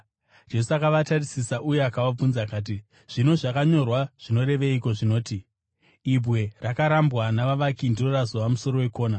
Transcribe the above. Jesu akavatarisisa uye akavabvunza akati, “Zvino zvakanyorwa zvinoreveiko zvinoti: “ ‘Ibwe rakarambwa navavaki ndiro razova musoro wekona’?